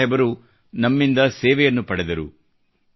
ಗುರು ಸಾಹೇಬರು ನಮ್ಮಿಂದ ಸೇವೆಯನ್ನು ಪಡೆದರು